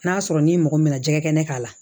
N'a sɔrɔ n'i mɔgɔ min nana jɛgɛ kɛnɛ k'a la